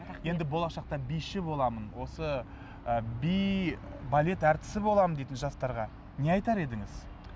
енді болашақта биші боламын осы ы би балет әртісі боламын дейтін жастарға не айтар едіңіз